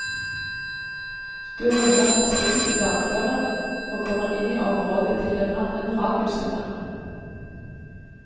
Du runder en sving i dalføret og kommer inn i området til en annen radiosender.